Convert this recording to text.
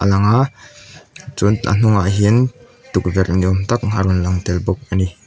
lang a chuan a hnungah hian tukverh ni âwm tak a rawn lang tel bawk a ni.